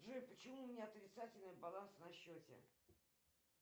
джой почему у меня отрицательный баланс на счете